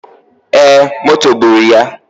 E, moto gburu ya.